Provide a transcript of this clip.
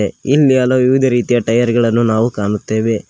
ಇಲ್ಲಿ ಹಲ ವಿವಿಧ ರೀತಿಯ ಟಯರ್ ಗಳನ್ನ ನಾವು ಕಾಣುತ್ತೆವೆ.